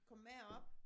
Kommer med op